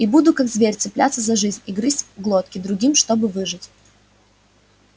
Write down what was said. и буду как зверь цепляться за жизнь и грызть глотки другим чтобы выжить